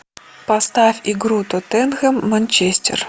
поставь игру тоттенхэм манчестер